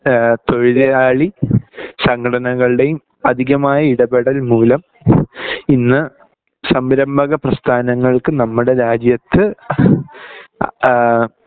ഈഹ് തൊഴിലാളി സങ്കടനകളുടെയും അധികമായ ഇടപെടൽ മൂലം ഇന്ന് സംരംഭക പ്രസ്ഥാനങ്ങൾക് നമ്മുടെ രാജ്യത്ത് ആഹ്